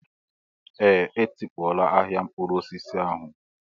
Ee, etikpọọla ahịa mkpụrụ osisi ahụ